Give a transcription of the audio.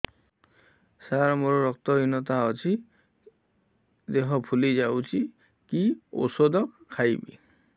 ସାର ମୋର ରକ୍ତ ହିନତା ଅଛି ଦେହ ଫୁଲି ଯାଉଛି କି ଓଷଦ ଖାଇବି